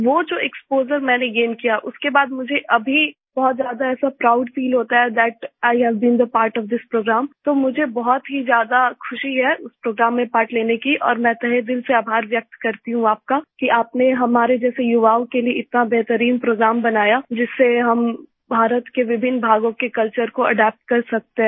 वो जो एक्सपोजर मैंने गैन किया उसके बाद मुझे अभी बहुत ज्यादा ऐसा प्राउड फील होता है that I have been the part of this program तो मुझे बहुत ही ज्यादा ख़ुशी है उस प्रोग्राम में पार्ट लेने की और मैं तहे दिल से आभार व्यक्त करती हूँ आपका कि आपने हमारे जैसे युवाओं के लिए इतना बेहतरीन प्रोग्राम बनाया जिससे हम भारत के विभिन्न भागों के कल्चर को अदप्त कर सकते हैं